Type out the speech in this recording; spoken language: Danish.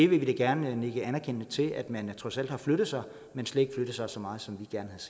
vil da gerne nikke anerkendende til at man trods alt har flyttet sig men slet ikke flyttet sig så meget som